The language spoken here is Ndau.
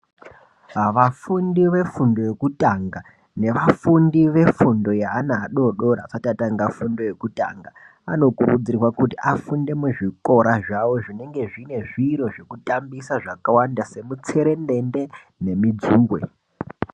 Vafundi vefundo yekutanga nevafundi vefundo yeana adodori asati atanga fundo yekutanga. Anokurudzirwa kuti afunde muzvikora zvavo zvinenge zvine zviro zvekutambisa zvakawanda semutserendende nemidzuve.